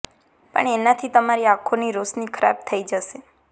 પણ એના થી તમારી આંખો ની રોશની ખરાબ થઇ જશે